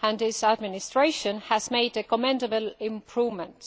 and his administration has made commendable improvements.